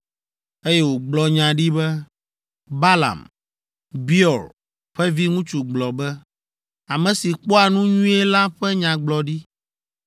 eye wògblɔ nya ɖi be, “Balaam, Beor ƒe viŋutsu gblɔ be: ame si kpɔa nu nyuie la ƒe nyagblɔɖi,